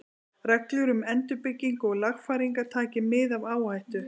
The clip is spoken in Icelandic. Reglur um endurbyggingu og lagfæringar, taki mið af áhættu.